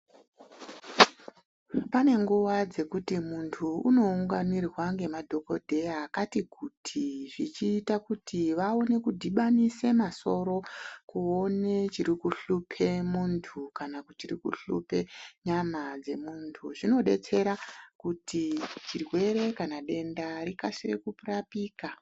Pane nguwa dzekuti muntu unounganirwa ngemadhokodheya akati kuti, zvichiita kuti vaone kudhibanise masoro kuone chiri kuhlupa muntu ,kana chiri kuhluphe nyama dzemuntu .Zvinodetsera kuti chirwere kana denda rikasire kurapika.